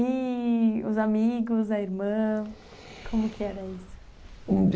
E os amigos, a irmã, como que era isso?